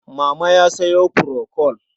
Mama ya sayo furokol.